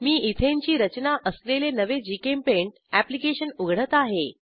मी ethane ची रचना असलेले नवे जीचेम्पेंट अॅप्लिकेशन उघडत आहे